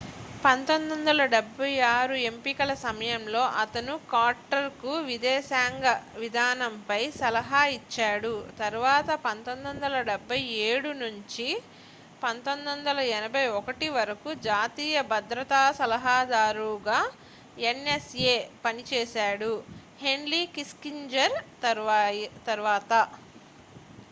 1976 ఎంపికల సమయంలో అతను కార్టర్కు విదేశాంగ విధానంపై సలహా ఇచ్చాడు తరువాత 1977 నుండి 1981 వరకు జాతీయ భద్రతా సలహాదారుగా ఎన్ఎస్ఏ పనిచేశాడు హెన్రీ కిస్సింజర్ తరువాత